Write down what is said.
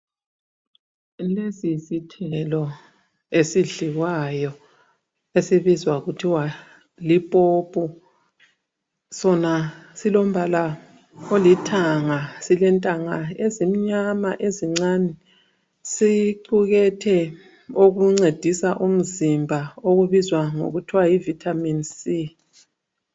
Lesi yisithelo esidliwayo, esibizwa kuthiwa lipopo. Sona silombala olithanga. Silentanga ezimnyama ezincane. Sicukethe okuncedisa umzimba okubizwa ngokuthwa yi vitamin C.